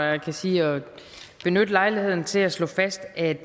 at jeg kan sige at benytte lejligheden til at slå fast at